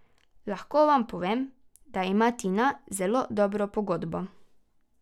Lahko vam povem, da ima Tina zelo dobro pogodbo.